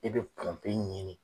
E bɛ pranpe ɲinin